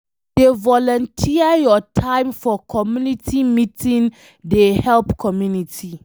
To dey volunteer your time for community meeting dey help community